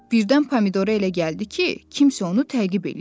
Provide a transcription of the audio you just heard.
Birdən Pomidora elə gəldi ki, kimsə onu təqib eləyir.